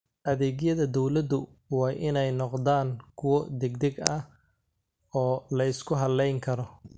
Adeegyada dawladdu waa inay noqdaan kuwo degdeg ah oo la isku halayn karo.